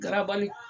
Garabali